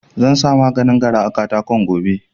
Zansa maganin gara a katakon gobe